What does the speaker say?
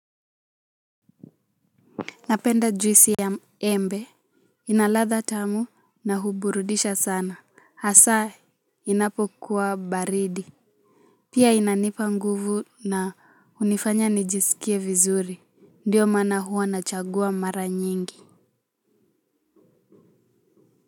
Napenda juisi ya embe. Ina latha tamu na huburudisha sana. Hasaa inapo kuwa baridi. Pia inanipa nguvu na hunifanya nijisikie vizuri. Ndiyo maana hwua nachagua mara nyingi.